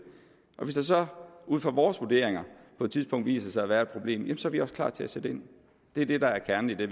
og hvis der så ud fra vores vurderinger på et tidspunkt viser sig at være et problem jamen så er vi også klar til at sætte ind det er det der er kernen i det